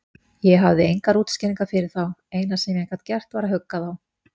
Ég hafði engar útskýringar fyrir þá, eina sem ég gat gert var að hugga þá.